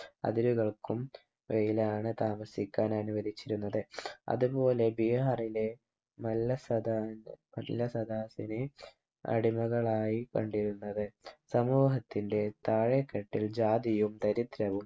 അതിരുകൾക്കും ഇടയിലാണ് താമസിക്കാൻ അനുവദിച്ചിരുന്നത് അതുപോലെ ബീഹാറിലെ നല്ല സദാ നല്ല സദാതിനെ അടിമകളായി കണ്ടിരുന്നത് സമൂഹത്തിന്റെ താഴേ തട്ടിൽ ജാതിയും ദരിദ്രവും